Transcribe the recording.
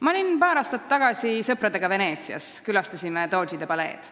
Ma olin paar aastat tagasi sõpradega Veneetsias, kus külastasime Doodžide paleed.